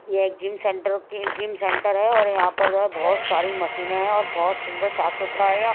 ये एक gym centre की जिम सेंटर है और यहां पर जो है बहुत सारी मशीनें हैं और बहुत सुंदर साफ सुथरा है यहाँ।